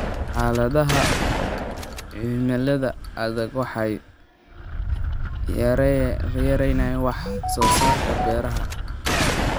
Xaaladaha cimilada adag waxay yareeyaan wax soo saarka beeraha.